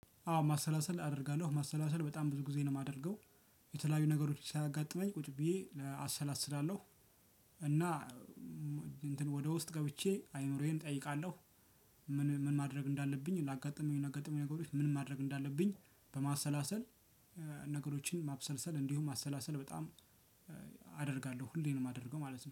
አዎ ማሰላሰል አደርጋለሁ ማሰላሰል በጣም ብዙ ጊዜ ነው የማደርገው የተለያዩ ነገሮች ሲያጋጥመኝ ቁጭ ብዬ አሰላስላለሁ። እና እንትን ወደ ውስጥ ገብቼ አይምሮዬን እጠይቃለሁ። ምን ምን ማድረግ እንዳለብኝ ላጋጥሙኝ ላጋጠሙኝ ነገሮች ምን ማድረግ እንዳለብኝ? በማሰላሰል ነገሮችን ማብሰልሰል እንዲሁም ማሰላሰል በጣም አደርጋለሁ። ሁሌም ነው የማደርገው ማለት ነው